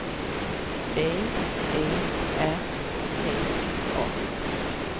B E R T A